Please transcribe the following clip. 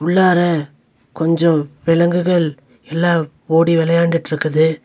உள்ளார கொஞ்ச விலங்குகள் எல்லாம் ஓடி வெளயாண்டுட்ருக்குது.